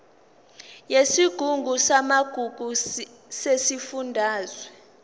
yesigungu samagugu sesifundazwe